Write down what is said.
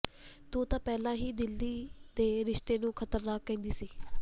ਤੂੰ ਤਾਂ ਪਹਿਲਾਂ ਹੀ ਦਿੱਲੀ ਦੇ ਰਸਤੇ ਨੂੰ ਖ਼ਤਰਨਾਕ ਕਹਿੰਦੀ ਸੀ